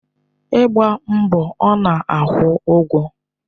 Ịgba mbọ ọ na-akwụ ụgwọ?